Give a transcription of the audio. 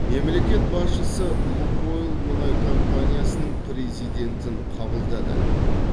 мемлекет басшысы лукойл мұнай компаниясының президентін қабылдады